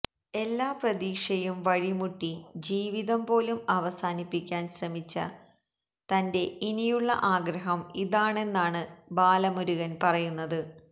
എല്ലാ പ്രതീക്ഷയും വഴിമുട്ടി ജീവിതം പോലും അവസാനിപ്പിക്കാന് ശ്രമിച്ച തന്റെ ഇനിയുള്ള ആഗ്രഹം ഇതാണെന്നാണ് ബാലമുരുകന് പറയുന്നത്